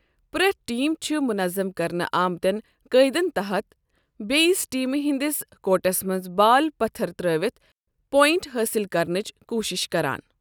پرٛٮ۪تھ ٹیم چھ منظم کرنہٕ آمتٮ۪ن قٲیدن تحت بیٚیِس ٹیٖمہِ ہِنٛدِس كورٹس منٛز بال پتھر ترٛٲوِتھ پوینٛٹ حٲصِل کرنٕچہِ کوُشِش کَران ۔